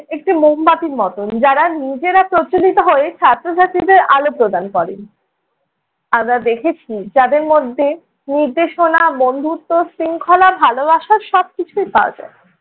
একটি মোমবাতির মতন যারা নিজেরা প্রজ্বলিত হয়ে ছাত্র-ছাত্রীদের আলো প্রদান করেন। দেখেছি তাদের মধ্যে নির্দেশনা, বন্ধুত্ব, শৃঙ্খলা, ভালোবাসা সব কিছুই পাওয়া যায়।